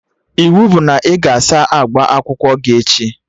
Ịwu bụ na ị ga-asa akpa akwụkwọ gị echi!